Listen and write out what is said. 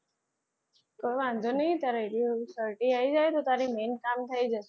તો વાંધો નહિ તારે certify આવી જાય ને તો તારું main કામ થઈ જાય.